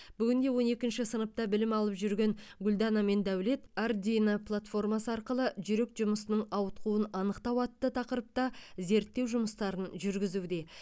бүгінде он екінші сыныпта білім алып жүрген гүлдана мен дәулет ардуино платформасы арқылы жүрек жұмысының ауытқуын анықтау атты тақырыпта зерттеу жұмыстарын жүргізуде